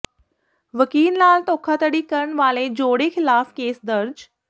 ਵਕੀਲ ਨਾਲ ਧੋਖਾਧੜੀ ਕਰਨ ਵਾਲੇ ਜੋੜੇ ਖ਼ਿਲਾਫ਼ ਕੇਸ ਦਰਜ